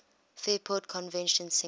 fairport convention singer